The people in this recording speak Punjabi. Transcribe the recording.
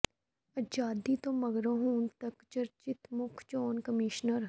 ਆਜ਼ਾਦੀ ਤੋਂ ਮਗਰੋਂ ਹੁਣ ਤਕ ਦੇ ਚਰਚਿਤ ਮੁੱਖ ਚੋਣ ਕਮਿਸ਼ਨਰ